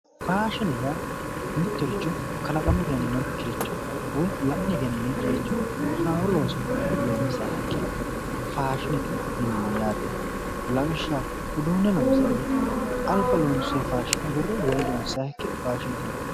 Faashine yaa mitto richo kalaqame egeninokiricho woyi la'ne egeninoyikkiricho haaro looso loonisayiha ikkiro faashinete yinanni yaate lawishshaho uduune lonisay woyite alibba lonisoy faashine agure wole loonisayiha ikkiro faashinete yinanni